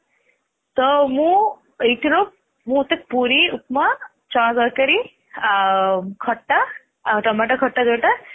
ତ ମୁଁ ଏଥିରୁ ମତେ ପୁରୀ ଉପମା ଚଣା ତରକାରୀ ଖଟା ଆଉ ଟମାଟର ଖଟା ଯୋଉଟା